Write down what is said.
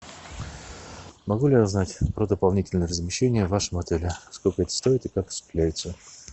могу ли я узнать про дополнительное размещение в вашем отеле сколько это стоит и как осуществляется